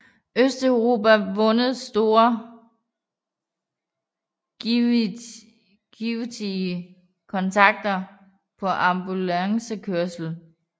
Østeuropa vundet store og givtige kontrakter på ambulancekørsel